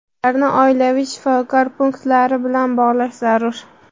ularni oilaviy shifokor punktlari bilan bog‘lash zarur.